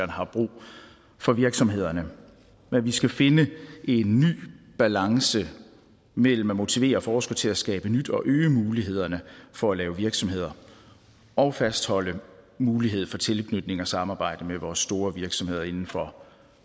har brug for virksomhederne men vi skal finde en ny balance mellem at motivere forskere til at skabe nyt og at øge mulighederne for at lave virksomheder og fastholde mulighed for tilknytning til og samarbejde med vores store virksomheder inden for